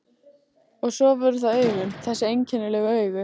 Og svo voru það augun, þessi einkennilegu augu.